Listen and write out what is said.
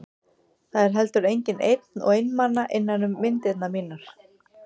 Það er heldur enginn einn og einmana innan um myndirnar mínar.